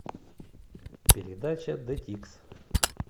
передача д тикс